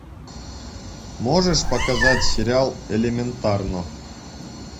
можешь показать сериал элементарно